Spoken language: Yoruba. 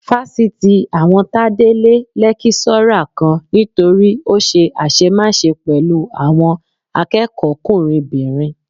Fásitì àwọn Tádé lé lẹ́kíṣọ́rà kan nítorí ó ṣe àṣemáṣe pẹ̀lú àwọn akẹ́kọ̀ọ́kùnrinbìnrin